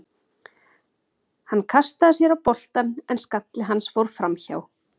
Hann kastaði sér á boltann en skalli hans fór framhjá.